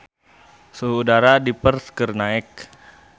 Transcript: Suhu udara di Perth keur naek